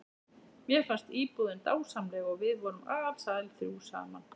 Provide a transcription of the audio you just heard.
Mér fannst íbúðin dásamleg og við vorum alsæl þrjú saman.